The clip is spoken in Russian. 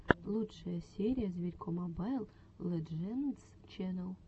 лучшая серия зверько мобайл лэджендс ченнал